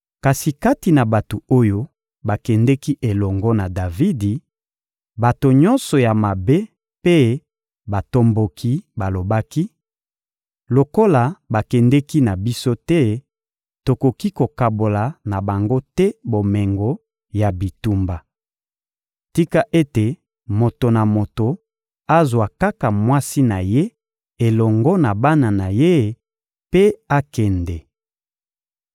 Kasi kati na bato oyo bakendeki elongo na Davidi, bato nyonso ya mabe mpe batomboki balobaki: — Lokola bakendeki na biso te, tokoki kokabola na bango te bomengo ya bitumba. Tika ete moto na moto azwa kaka mwasi na ye elongo na bana na ye mpe akende.